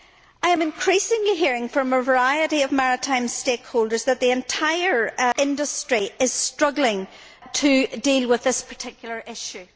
I am increasingly hearing from a variety of maritime stakeholders that the entire industry is struggling to deal with this particular issue.